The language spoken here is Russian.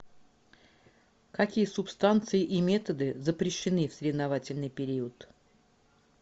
какие субстанции и методы запрещены в соревновательный период